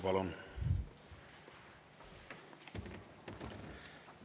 Palun!